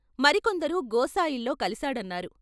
మరికొందరు గోసాయిల్లో కలిశాడన్నారు.